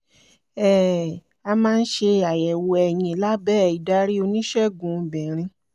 um a máa ń ṣe àyẹ̀wò ẹyin lábẹ́ ìdarí oníṣègùn obìnrin